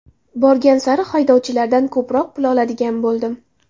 Borgan sari haydovchilardan ko‘proq pul oladigan bo‘ldim.